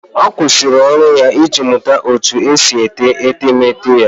Ọ kwụsịrị ọrụ ya iji mụta otú e si ete etemeete ya